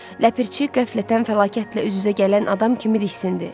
Ləpirçi qəflətən fəlakətlə üz-üzə gələn adam kimi diksindi.